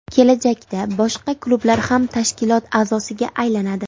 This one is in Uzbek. Kelajakda boshqa klublar ham tashkilot a’zosiga aylanadi.